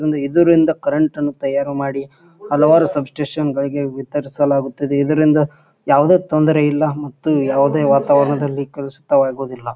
ಇದರಿಂದ ಕರೆಂಟ್ ಅನ್ನು ತಯಾರು ಮಾಡಿ ಹಲವಾರು ಸಬ್ಸ್ಟೇಶನ್ ಗಳಿಗೆ ವಿತರಿಸಲಾಗುತ್ತದೆ. ಇದರಿಂದ ಯಾವುದೇ ತೊಂದರೆ ಇಲ್ಲಾ ಮತ್ತೆ ಮತ್ತು ಯಾವುದೇ ವಾತಾವರಣದಲ್ಲಿ ಕಲುಷಿತವಾಗುವುದಿಲ್ಲಾ.